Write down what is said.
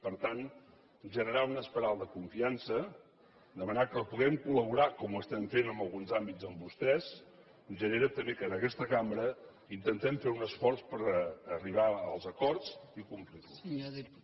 per tant generar una espiral de confiança demanar que puguem col·laborar com ho estem fent en alguns àmbits amb vostès genera també que en aquesta cambra intentem fer un esforç per arribar als acord i complir los